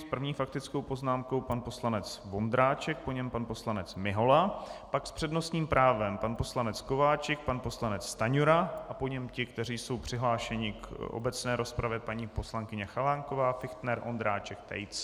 S první faktickou poznámkou pan poslanec Vondráček, po něm pan poslanec Mihola, pak s přednostním právem pan poslanec Kováčik, pan poslanec Stanjura a po něm ti, kteří jsou přihlášeni k obecné rozpravě, paní poslankyně Chalánková, Fichtner, Ondráček, Tejc.